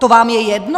To vám je jedno?